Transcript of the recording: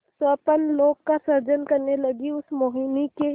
स्वप्नलोक का सृजन करने लगीउस मोहिनी के